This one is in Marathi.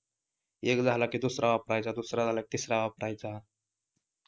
एक झाला की दुसरा वापरायचा दुसरा झाला तिसरा वापरायचा